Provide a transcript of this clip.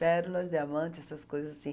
Pérolas, diamante, essas coisas assim.